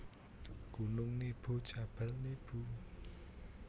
Gunung Nebo Jabal Nibu